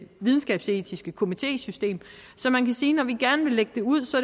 videnskabsetiske komitésystem så man kan sige når vi gerne vil lægge det ud